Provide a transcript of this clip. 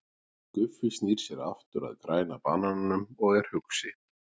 Guffi snýr sér aftur að Græna banananum og er hugsi.